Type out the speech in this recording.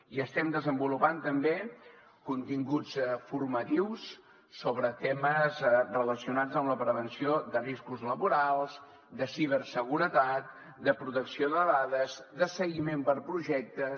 i estem desenvolupant també continguts formatius sobre temes relacionats amb la prevenció de riscos laborals de ciberseguretat de protecció de dades de seguiment per projectes